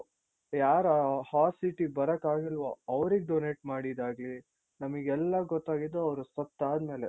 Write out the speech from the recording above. ಯಾರು ಆ hot seat ಗೆ ಬರೋಕಾಗಿಲ್ವೋ ಅವ್ರಿಗೆ donate ಮಾಡಿದ್ದಾಗ್ಲಿ ನಮಿಗೆಲ್ಲ ಗೊತ್ತಾಗಿದ್ದು ಅವ್ರು ಸತ್ತಾದ್ಮೇಲೆ.